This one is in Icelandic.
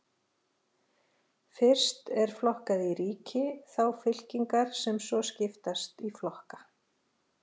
Fyrst er flokkað í ríki, þá fylkingar sem svo skiptast í flokka.